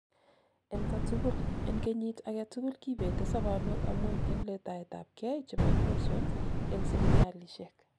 en katugul: en kenyit agetugul, kibete sobonwek amun en letaetabkei chebo infections en sipitalishek